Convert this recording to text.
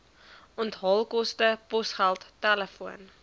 onthaalkoste posgeld telefoon